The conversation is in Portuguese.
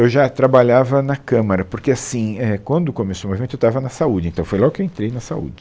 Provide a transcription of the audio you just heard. Eu já trabalhava na Câmara, porque assim é quando começou o movimento eu estava na saúde, então foi logo que eu entrei na saúde.